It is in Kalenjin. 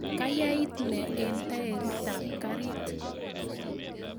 kayait nee eng tairitab karit